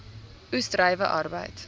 oes druiwe arbeid